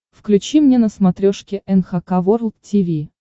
включи мне на смотрешке эн эйч кей волд ти ви